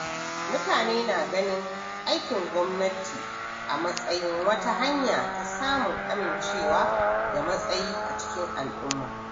Mutane na ganin aikin gwamnati a matsayin wata hanya ta samun amincewa da matsayi a cikin al’umma.